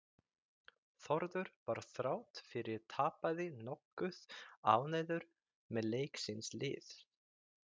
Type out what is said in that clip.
Þórður var þrátt fyrir tapaði nokkuð ánægður með leik síns liðs.